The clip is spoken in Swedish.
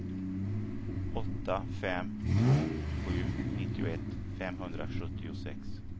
åtta fem två sju nittioett femhundrasjuttiosex